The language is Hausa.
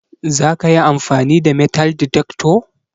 zakayi amfani da metal detector?